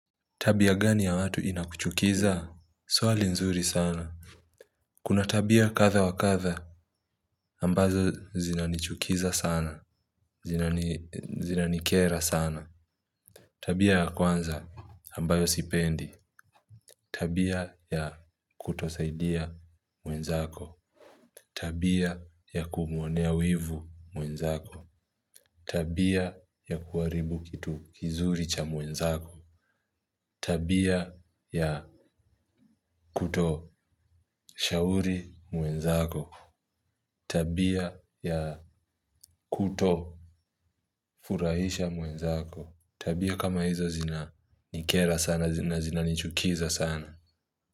Tabia gani ya watu inakuchukiza swali nzuri sana kuna tabia kadha wa kadha ambazo zinanichukiza sana zinanikera sana tabia ya kwanza ambayo sipendi tabia ya kutosaidia mwenzako tabia ya kumuonea wivu mwenzako tabia ya kuharibu kitu kizuri cha mwenzako tabia ya kutoshauri mwenzako. Tabia ya kutofurahisha mwenzako. Tabia kama hizo zinanikera sana zina zina nichukiza sana.